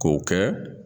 K'o kɛ